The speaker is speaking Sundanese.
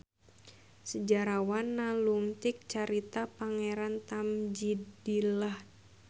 Sejarawan nalungtik carita Pangeran Tamjidillan